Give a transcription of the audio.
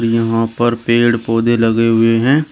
यहां पर पेड़ पौधे लगे हुए हैं।